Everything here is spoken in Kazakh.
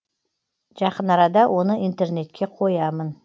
жақын арада оны интернетке қоямын